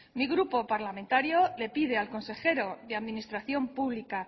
mi grupo parlamentario le pide al consejero de administración pública